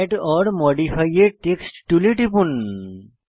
add or modify a text টুলে টিপুন